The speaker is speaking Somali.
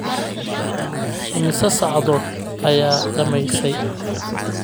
Immisa saacadood ayaad dhammaysay?